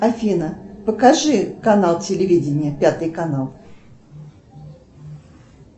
афина покажи канал телевидения пятый канал